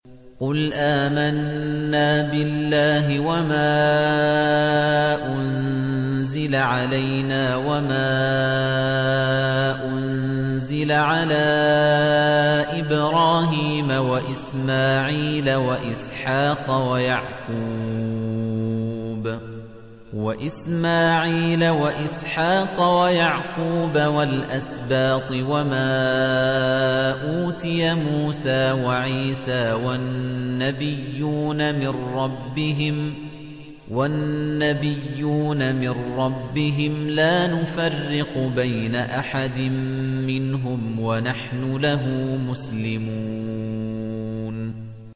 قُلْ آمَنَّا بِاللَّهِ وَمَا أُنزِلَ عَلَيْنَا وَمَا أُنزِلَ عَلَىٰ إِبْرَاهِيمَ وَإِسْمَاعِيلَ وَإِسْحَاقَ وَيَعْقُوبَ وَالْأَسْبَاطِ وَمَا أُوتِيَ مُوسَىٰ وَعِيسَىٰ وَالنَّبِيُّونَ مِن رَّبِّهِمْ لَا نُفَرِّقُ بَيْنَ أَحَدٍ مِّنْهُمْ وَنَحْنُ لَهُ مُسْلِمُونَ